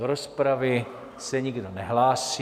Do rozpravy se nikdo nehlásí.